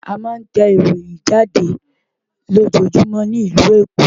A ma ń tẹ ìròyìn jáde lójoójúmọ́ ní ìlú Èkó